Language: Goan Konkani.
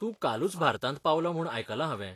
तूं कालूच भारतांत पावलो म्हूण आयकलां हांवें.